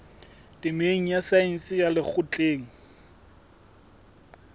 temeng ya saense ya lekgotleng